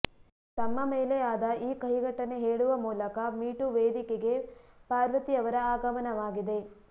ತಮ್ಮ ಮೇಲೆ ಆದ ಈ ಕಹಿ ಘಟನೆ ಹೇಳುವ ಮೂಲಕ ಮೀಟೂ ವೇದಿಕೆಗೆ ಪಾರ್ವತಿ ಅವರ ಆಗಮನವಾಗಿದೆ